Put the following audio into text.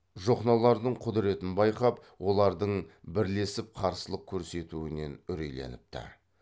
жохнолардың құдыретін байқап олардың бірлесіп қарсылық көрсетуінен үрейленіпті